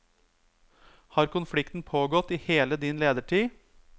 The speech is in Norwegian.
Har konflikten pågått i hele din ledertid?